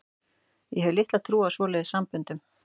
Ég hef litla trú á svoleiðis samböndum.